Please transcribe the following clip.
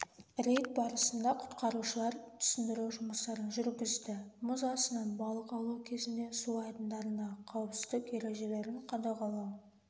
рейд барысында құтқарушылар түсіндіру жұмыстарын жүргізді мұз астынан балық аулау кезінде су айдындарындағы қауіпсіздік ережелерін қадағалау